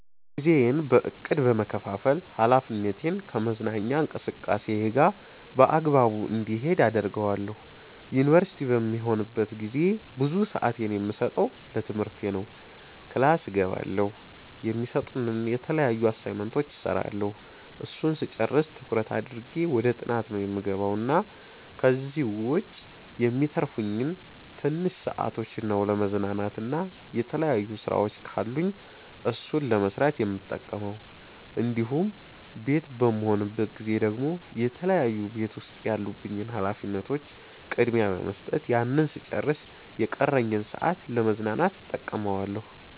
ጊዜዬን በ እቅድ በመከፋፈል ሀላፊነቴን ከመዝናኛ እንቅስቃሴየ ጋር በአግባቡ እንዲሄድ አደርገዋለሁ። ዩንቨርሲቲ በምሆንበት ጊዜ ብዙ ስአቴን የምሰጠው ለትምህርቴ ነው ክላስ እገባለሁ፣ የሚሰጡንን የተለያዩ አሳይመንቶች እስራለሁ እሱን ስጨርስ ትኩረት አድርጌ ወደ ጥናት ነው የምገባው እና ከዚህ ዉጭ የሚተርፉኝን ትንሽ ሰአቶች ነው ለመዝናናት እና የተለያዩ ስራወች ካሉኝ እሱን ለመስራት የምጠቀመው እንዲሁም ቤት በምሆንበት ጊዜ ደግሞ የተለያዩ ቤት ዉስጥ ያሉብኝን ሀላፊነቶች ቅድሚያ በመስጠት ያንን ስጨርስ የቀረኝን ሰአት ለ መዝናናት እተቀመዋለሁ